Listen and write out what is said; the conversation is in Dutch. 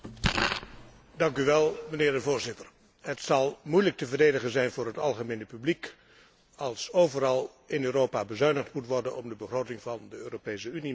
Het zal moeilijk te verdedigen zijn voor het algemene publiek, als overal in Europa bezuinigd moet worden om de begroting van de Europese Unie met 6,8 te verhogen.